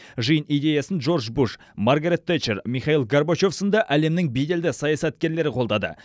жиын идеясын джордж буш маргарет тэтчер михаил горбачев сынды әлемнің беделді саясаткерлері қолдады